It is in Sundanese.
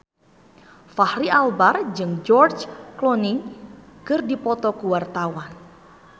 Fachri Albar jeung George Clooney keur dipoto ku wartawan